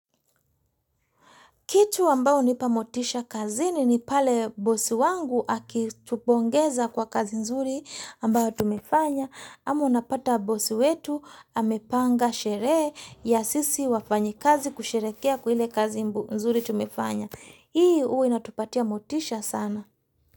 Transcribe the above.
Kitu ambao unipa motisha kazini ni pale bosi wangu akitupongeza kwa kazi nzuri ambao tumefanya. Ama unapata bosi wetu amepanga sherehe ya sisi wafanyi kazi kusherekea kwa ile kazi nzuri tumefanya. Hii uwa inatupatia motisha sana.